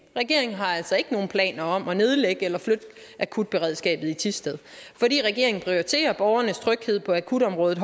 regeringen har altså ikke nogen planer om at nedlægge eller flytte akutberedskabet i thisted fordi regeringen prioriterer borgernes tryghed på akutområdet